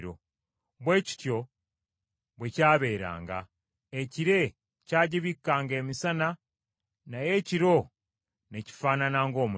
Bwe kityo bwe kyabeeranga; ekire kyagibikkanga emisana naye ekiro ne kifaanana ng’omuliro.